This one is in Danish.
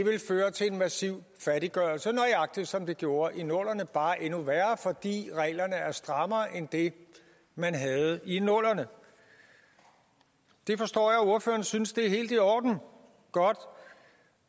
vil føre til en massivt fattiggørelse nøjagtig som det gjorde i nullerne bare endnu værre fordi reglerne er strammere end det man havde i nullerne jeg forstår at ordføreren synes at det er helt i orden godt